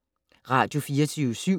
Radio24syv